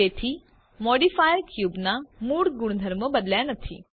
તેથી મોડિફાયર ક્યુબના મૂળ ગુણધર્મો બદલ્યા નથી